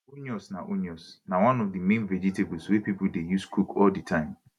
onions na onions na one of di main vegetables wey pipo dey use cook all di time